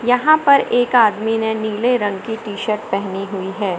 यहां पर एक आदमी ने नीले रंग की टी शर्ट पेहनी हुई है।